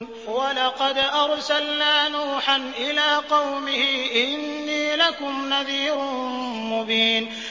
وَلَقَدْ أَرْسَلْنَا نُوحًا إِلَىٰ قَوْمِهِ إِنِّي لَكُمْ نَذِيرٌ مُّبِينٌ